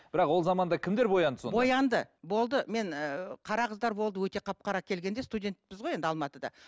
бірақ ол заманда кімдер боянды сонда боянды болды мен ыыы қара қыздар болды өте қап қара келгенде студентпіз ғой енді алматыда